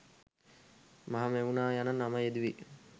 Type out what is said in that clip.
මහමෙව්නාව යන නම යෙදුවේ